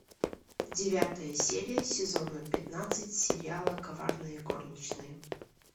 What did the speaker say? девятая серия сезона пятнадцать сериала коварные горничные